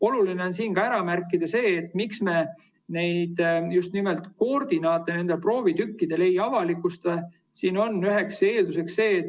Oluline on ära märkida see, miks me nende proovitükkide koordinaate ei avalikusta.